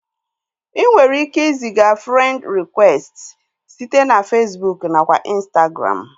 Inwere ike iziga frend rịkwesti site na Fesbụụk nakwa Ịnstagram